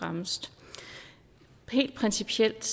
fremmest helt principielt